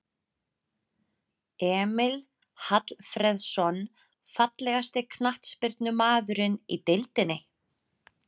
Emil Hallfreðsson Fallegasti knattspyrnumaðurinn í deildinni?